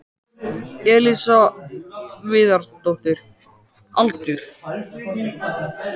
Elísa Viðarsdóttir Aldur?